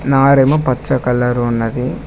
నవార్ ఏమో పచ్చ కలర్ ఉన్నది.